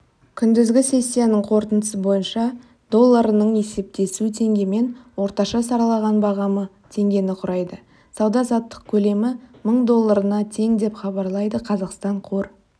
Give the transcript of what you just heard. күндізгі сессиясының қорытындысы бойынша долларының есептесуі теңгемен орташа сараланған бағамы теңгені құрайды сауда-саттық көлемі мың долларына тең деп хабарлайды қазақстан қор